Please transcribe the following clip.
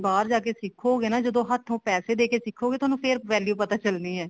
ਬਾਹਰ ਜਾ ਕੇ ਸਿੱਖੋਗੇ ਨਾ ਜਦੋਂ ਹੱਥੋਂ ਪੈਸੇ ਦੇ ਕੇ ਸਿੱਖੋਗੇ ਤੁਹਾਨੂੰ ਫ਼ੇਰ value ਪਤਾ ਚੱਲਣੀ ਏ